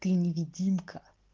ты невидимка